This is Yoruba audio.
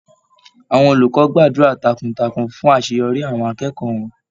Àwọn olùkọ́ gbàdúrà takuntakun fún àṣeyọrí àwọn akẹ́kọ̀ọ́ wọn.